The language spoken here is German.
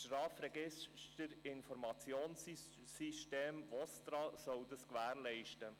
Das VOSTRA soll dies gewährleisten.